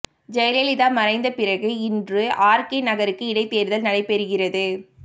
ஜெயலலிதா மறைந்த பிறகு இன்று ஆர்கே நகருக்கு இடைத்தேர்தல் நடைபெறுகிறது